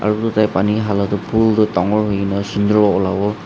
edu tu tai pani hala toh phul tu dangor hoina sunder olawo.